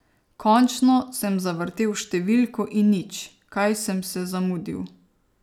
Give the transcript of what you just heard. Končno sem zavrtel številko in nič, kaj sem se zamudil.